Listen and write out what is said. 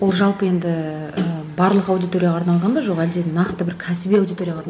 ол жалпы енді і барлық аудиторияға арналған ба жоқ әлде нақты бір кәсіби аудиторияға